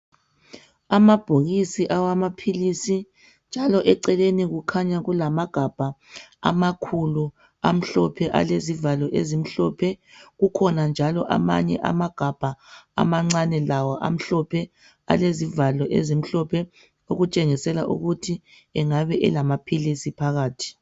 Amabhokisi awamaphilisi njalo eceleni kukhanya kulamagabha amakhulu alezivalo ezimhlophe kukhona njalo amanye amagabha amancane amhlophe alezivalo ezimhlophe okutshengisela ukuthi engabe elamaphilisi phakathi.